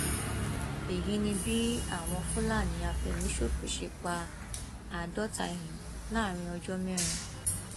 èyí ni bí àwọn fúlàní àfẹmíṣòfò ṣe pa àádọta èèyàn láàrin ọjọ mẹrin